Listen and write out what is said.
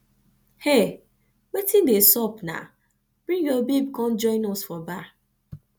hey wetin dey sup naa bring your babe come join us for bar